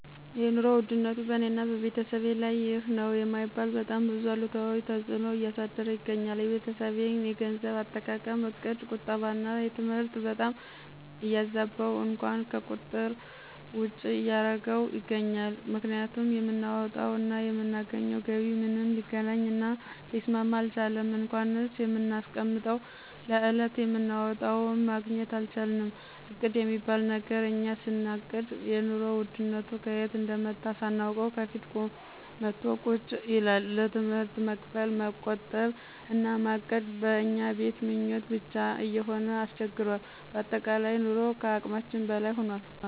የኑሮ ውድነቱ በእኔና በቤተሰቤ ላይ ይህ ነዉ የማይባል በጣም ብዙ አሉታዊ ተጽእኖን እያሳደረ ይገኛል። የቤተሰቤን የገንዘብ አጠቃቀም እቅድ ቁጠባና ትምህርት በጣም እያዛበው እንኳን ከቁጥር ውጭ እያረገው ይገኛል፤ ምክንያቱም የምናወጣው እና የምናገኘው ገቢ ምንም ሊገናኝ እና ሊስማማ አልቻለም እንኳንስ የምናስቀምጠው ለዕለት የምናወጣውም ማግኘት አልቻልንም እቅድ የሚባል ነገር እኛ ስናቅድ የኑሮ ውድነቱ ከየት እንደመጣ ሳናውቅ ከፊት መቶ ቁጭ ይላል፣ ለትምህርት መክፈል፣ መቆጠብ እና ማቀድ በእኛ ቤት ምኞት ብቻ እየሆነ አስቸግሯል በአጠቃላይ ኑሮ ከአቅማችን በላይ ሁኗል።